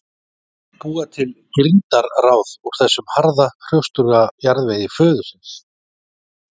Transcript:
Búa til girndarráð úr þessum harða, hrjóstruga jarðvegi föðurins.